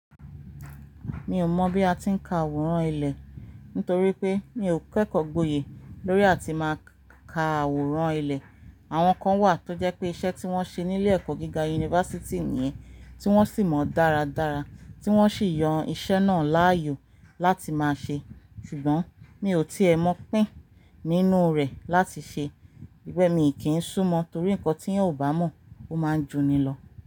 Mi ò mọ̀ bí a ti ń ka àwòrán ilẹ̀, nítorí pé mi ò kẹ́kọ̀ọ́ gboyè lórí àti máa ka àwòrán ilẹ̀. Àwọn kan wà tó jẹ́ pé iṣẹ́ tí wọ́n ṣe nílé ẹ̀kọ́ gíga Yunifásítì nìyẹn, tí wọ́n sì mọ dáradára, tí wọ́n sì yan iṣẹ́ náà láàyò láti máa ṣe. Ṣùgbọ́n mi ò tí è mọ̀ pín nínú rẹ̀ láti ṣe. Tori be mi kì ń súmọ́ torí nǹkan tí ẹeyan ò bá mọ̀, ó máa ń juni lọ.